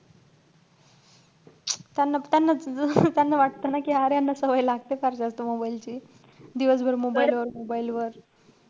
त्यांना~ त्यांना अं त्यांना वाटतं ना कि यांना सवय लागते फार जास्त mobile ची. दिवसभर mobile वर mobile वर.